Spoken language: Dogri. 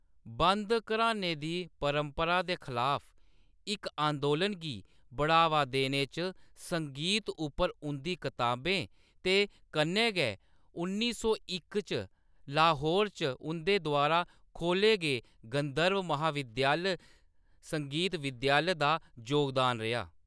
बंद घरानें दी परंपरा दे खलाफ इक अंदोलन गी बढ़ावा देने च संगीत उप्पर उंʼदी कताबें ते कन्नै गै उन्नी सौ इक च लाहौर च उंʼदे द्वारा खोल्ले गे गंधर्व महाविद्यालय संगीत विद्यालय, दा जोगदान रेहा।